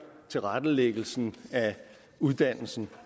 tilrettelæggelsen af uddannelsen